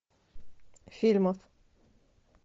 фильмов